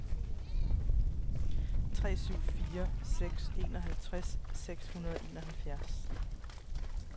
tre syv fire seks enoghalvtreds seks hundrede og enoghalvfjerds